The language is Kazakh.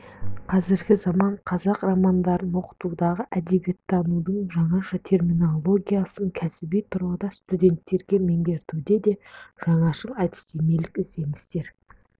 қазіргі заман қазақ романдарын оқытудағы әдебиеттанудың жаңаша терминологиясын кәсіби тұрғыдан студенттерге меңгертуде де жаңашыл әдістемелік ізденістер